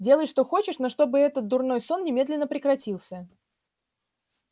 делай что хочешь но чтобы этот дурной сон немедленно прекратился